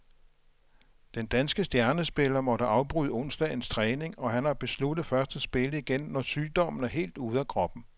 Den danske stjernespiller måtte afbryde onsdagens træning, og han har besluttet først at spille igen, når sygdommen er helt ude af kroppen.